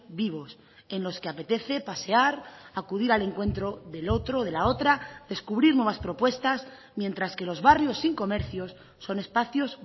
vivos en los que apetece pasear acudir al encuentro del otro o de la otra descubrir nuevas propuestas mientras que los barrios sin comercios son espacios